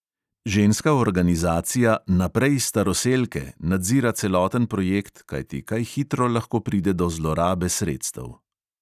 Ženska organizacija naprej staroselke nadzira celoten projekt, kajti kaj hitro lahko pride do zlorabe sredstev.